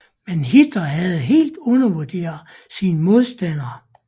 Men Hitler havde helt undervurderet sin modstander